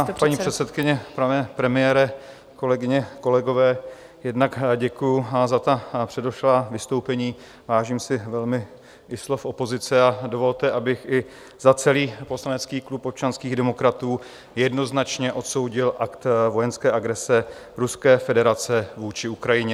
Vážená paní předsedkyně, pane premiére, kolegyně, kolegové, jednak děkuji za ta předešlá vystoupení, vážím si velmi i slov opozice, a dovolte, abych i za celý poslanecký klub občanských demokratů jednoznačně odsoudil akt vojenské agrese Ruské federace vůči Ukrajině.